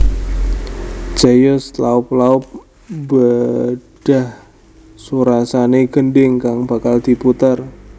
Jayus laop laop mbedhah surasane gendhing kang bakal diputer